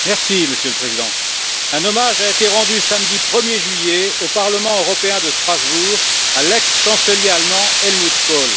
Monsieur le Président, un hommage a été rendu samedi 1er juillet, au Parlement européen de Strasbourg, à l'ex chancelier allemand Helmut Kohl.